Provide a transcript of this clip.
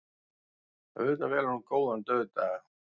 Auðvitað velur hún góðan dauðdaga.